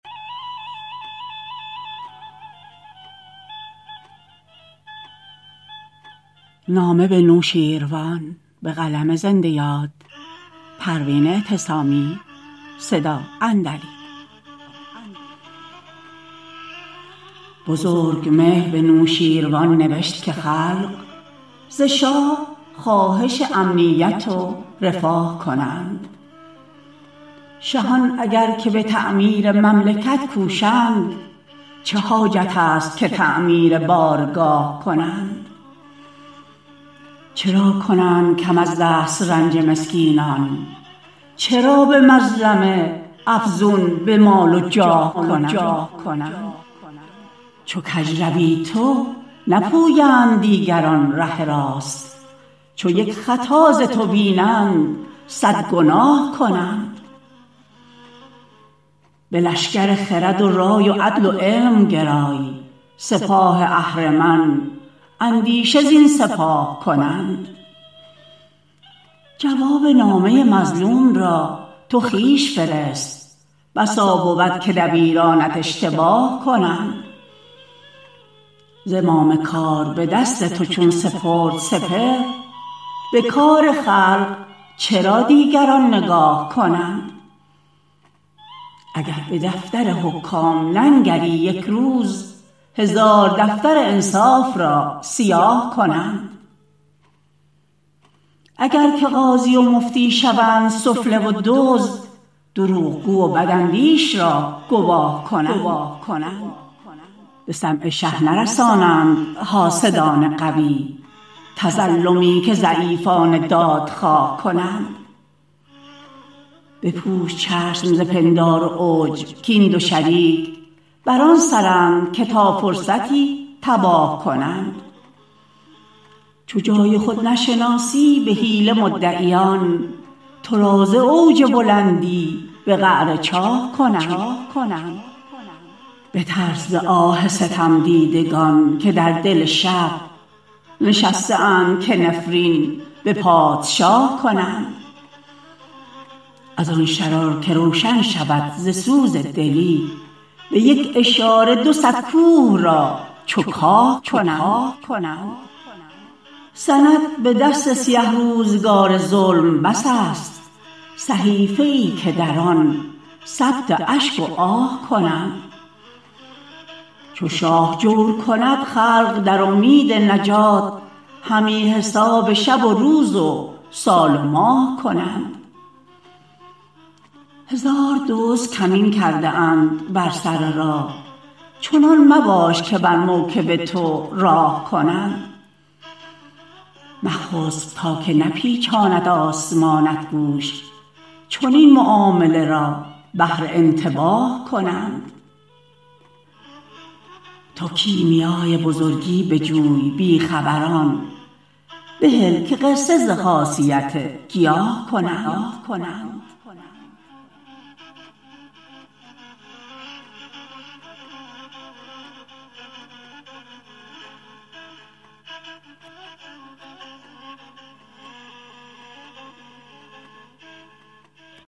بزرگمهر به نوشین روان نوشت که خلق ز شاه خواهش امنیت و رفاه کنند شهان اگر که به تعمیر مملکت کوشند چه حاجت است که تعمیر بارگاه کنند چرا کنند کم از دسترنج مسکینان چرا به مظلمه افزون به مال و جاه کنند چو کج روی تو نپویند دیگران ره راست چو یک خطا ز تو بینند صد گناه کنند به لشکر خرد و رای و عدل و علم گرای سپاه اهرمن اندیشه زین سپاه کنند جواب نامه مظلوم را تو خویش فرست بسا بود که دبیرانت اشتباه کنند زمام کار به دست تو چون سپرد سپهر به کار خلق چرا دیگران نگاه کنند اگر به دفتر حکام ننگری یک روز هزار دفتر انصاف را سیاه کنند اگر که قاضی و مفتی شوند سفله و دزد دروغگو و بداندیش را گواه کنند به سمع شه نرسانند حاسدان قوی تظلمی که ضعیفان دادخواه کنند بپوش چشم ز پندار و عجب کاین دو شریک بر آن سرند که تا فرصتی تباه کنند چو جای خود نشناسی به حیله مدعیان تو را ز اوج بلندی به قعر چاه کنند بترس ز آه ستمدیدگان که در دل شب نشسته اند که نفرین به پادشاه کنند از آن شرار که روشن شود ز سوز دلی به یک اشاره دو صد کوه را چو کاه کنند سند به دست سیه روزگار ظلم بس است صحیفه ای که در آن ثبت اشک و آه کنند چو شاه جور کند خلق در امید نجات همی حساب شب و روز و سال و ماه کنند هزار دزد کمین کرده اند بر سر راه چنان مباش که بر موکب تو راه کنند مخسب تا که نپیچاند آسمانت گوش چنین معامله را بهر انتباه کنند تو کیمیای بزرگی بجوی بی خبران بهل که قصه ز خاصیت گیاه کنند